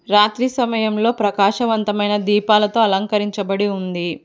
రాత్రి సమయంలో ప్రకాశవంతమైన దీపాలతో అలంకరించబడి ఉంది.